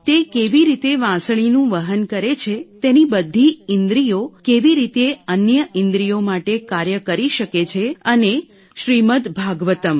તે કેવી રીતે વાંસળીનું વહન કરે છે તેની બધી ઇન્દ્રિયો કેવી રીતે અન્ય ઇન્દ્રિયો માટે કાર્ય કરી શકે છે અને શ્રીમદ ભાગવતમ